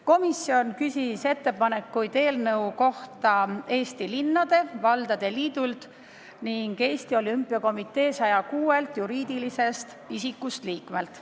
Komisjon küsis ettepanekuid eelnõu kohta Eesti Linnade ja Valdade Liidult ning Eesti Olümpiakomitee 106 juriidilisest isikust liikmelt.